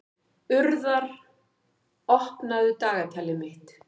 Urðar, opnaðu dagatalið mitt.